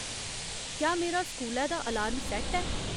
क्या मेरा स्कूलै दा अलार्म सैट्ट ऐ